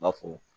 N b'a fɔ